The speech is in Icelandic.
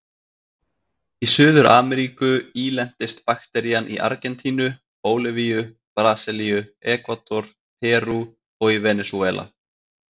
Í Suður-Ameríku ílentist bakterían í Argentínu, Bólivíu, Brasilíu, Ekvador, Perú og í Venesúela.